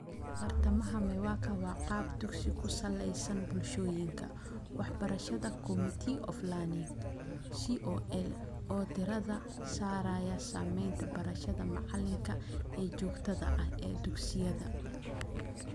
Bartamaha MEWAKA waa qaab dugsi-ku-saleysan, Bulshooyinka Waxbarashada (Communities of Learning) (CoL) - oo diiradda saaraya sameynta barashada macallinka ee joogtada ah ee dugsiyada.